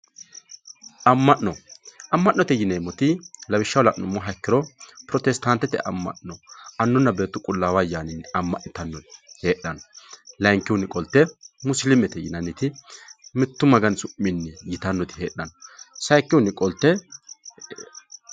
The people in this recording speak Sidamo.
amma'no amma'note yineemoti lawishshaho la'numoha ikkiro protestaantete amma'no annunna beetu qulaawu ayaaninni amma'nitanori heexxanno layiinkihunni qolte musiiliimete yinanniti mittu magani su'mii yitanoti heexxanno sayiikihuni qolte.